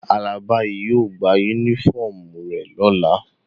Alaba yio gba unifọmú re lola.